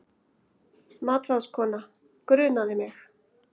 MATRÁÐSKONA: Grunaði mig.